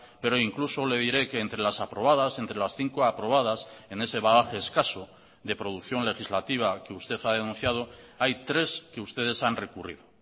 pero incluso le diré que entre las aprobadas entre las cinco aprobadas en ese bagaje escaso de producción legislativa que usted ha denunciado hay tres que ustedes han recurrido